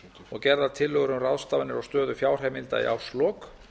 og gerðar tillögur um ráðstafanir á stöðu fjárheimilda í árslok